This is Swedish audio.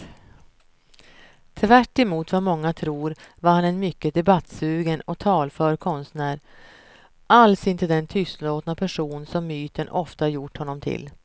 Tvärtemot vad många tror var han en mycket debattsugen och talför konstnär, alls inte den tystlåtna person som myten ofta gjort honom till.